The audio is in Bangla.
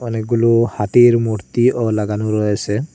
অনেকগুলো হাতির মূর্তিও লাগানো রয়েসে।